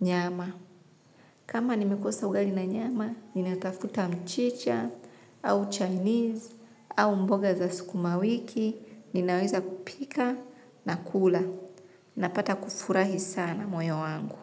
nyama. Kama nimekosa ugali na nyama, ninatafuta mchicha, au Chinese, au mboga za sukumawiki, ninaweza kupika na kula. Napata kufurahi sana moyo wangu.